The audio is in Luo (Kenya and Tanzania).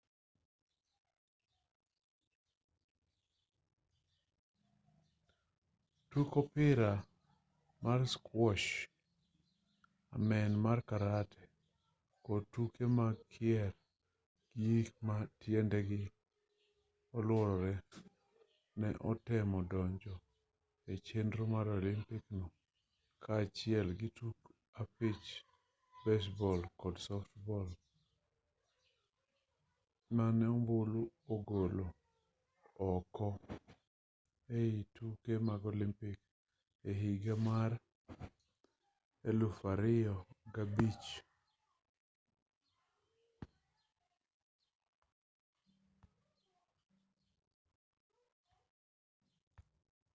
tuk opira mar squash amen mar karate kod tuke mag kier gi gik ma tiendegi oluorore bende ne otemo donjo e chenro mar olympic no kaachiel gi tuk opich baseball kod softball mane ombulu ogolo oko e tuke mag olympic e higa mar 2005